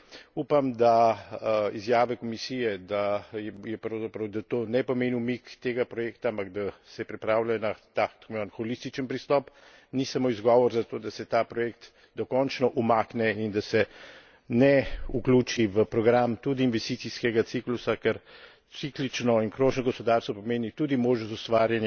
Upam, da izjava Komisije, da pravzaprav to ne pomeni umik tega projekta, ampak da je pripravljena na holističen pristop, ni samo izgovor zato, da se ta projekt dokončno umakne in da se ne vključi v program tudi investicijskega ciklusa, ker ciklično in krožno gospodarstvo pomeni tudi možnost ustvarjanja